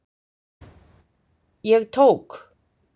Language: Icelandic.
Ég tók